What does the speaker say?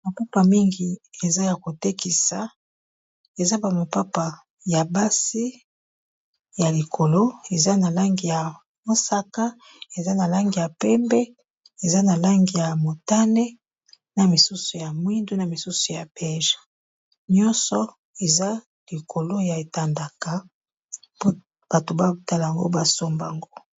mapapa mingi eza ya kotekisa eza bamopapa ya basi ya likolo eza na langi ya mosaka eza na langi ya pembe eza na langi ya motane na misusu ya mwindu na misusu ya peje nyonso eza likolo ya etandaka bato babtal yango basombango